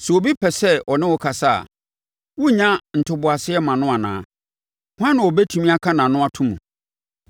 “Sɛ obi pɛ sɛ ɔne wo kasa a, worennya ntoboaseɛ mma no anaa? Hwan na wɔbɛtumi aka nʼano ato mu?